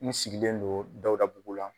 N sigilen do Dawudabugu la.